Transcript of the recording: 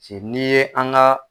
si n'i ye an ka